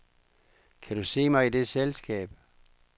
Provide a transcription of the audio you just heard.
Kunne du se mig i det selskab?